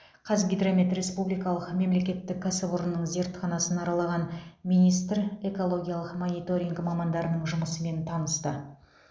қазгидромет республикалық мемлекеттік кәсіпорнының зертханасын аралаған министр экологиялық мониторинг мамандарының жұмысымен танысты